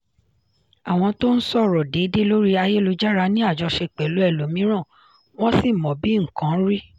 àwọn tó ń sọ̀rọ̀ déédéé lórí ayélujára ní àjọṣe pẹ̀lú ẹlòmíràn wọ́n sì mọ bí nǹkan rí.